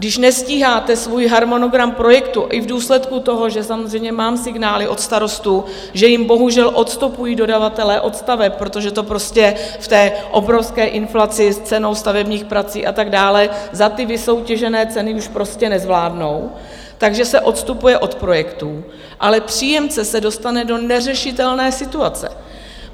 Když nestíháte svůj harmonogram projektu i v důsledku toho, že samozřejmě mám signály od starostů, že jim bohužel odstupují dodavatelé od staveb, protože to prostě v té obrovské inflaci s cenou stavebních prací a tak dále za ty vysoutěžené ceny už prostě nezvládnou, takže se odstupuje od projektů, ale příjemce se dostane do neřešitelné situace.